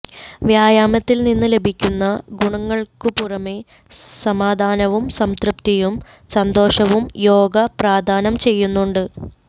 വ്യായാമത്തിൽ നിന്ന് ലഭിക്കുന്ന ഗുണങ്ങൾക്കു പുറമെ സമാധാനവും സംതൃപ്തിയും സന്തോഷവും യോഗ പ്രദാനം ചെയ്യുന്നുണ്ട്